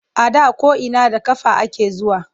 A da ko’ina da ƙafa ake zuwa.